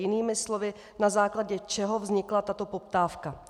Jinými slovy, na základě čeho vznikla tato poptávka.